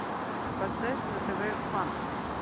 поставь на тв фан